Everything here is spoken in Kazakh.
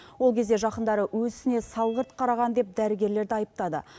ол кезде жақындары өз ісіне салғырт қараған деп дәрігерлерді айыптады